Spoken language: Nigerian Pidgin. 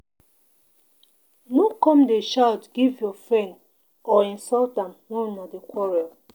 No come dey shout give your friend or insult am wen una dey quarrel.